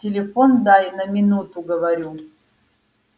телефон дай на минуту говорю